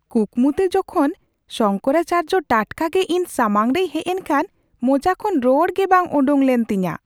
ᱠᱩᱠᱢᱩᱛᱮ ᱡᱚᱠᱷᱚᱱ ᱥᱚᱝᱠᱚᱨᱟᱪᱟᱨᱡᱚ ᱴᱟᱴᱠᱟᱜᱮ ᱤᱧ ᱥᱟᱢᱟᱝ ᱨᱮᱭ ᱦᱮᱡ ᱮᱱᱠᱷᱟᱱ ᱢᱚᱪᱟ ᱠᱷᱚᱱ ᱨᱚᱲᱜᱮ ᱵᱟᱝ ᱳᱰᱳᱠ ᱞᱮᱱ ᱛᱤᱧᱟᱹ ᱾